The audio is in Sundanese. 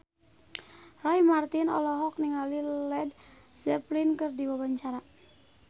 Roy Marten olohok ningali Led Zeppelin keur diwawancara